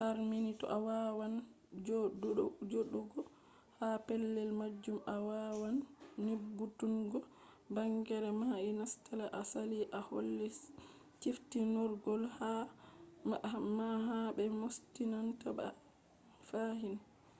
harni to a wawan joɗugo ha pellel majum a wawan nyebbutungo bangeere mai nasete a sali a holli ciftinorgol ma ha be moostinta ba fahin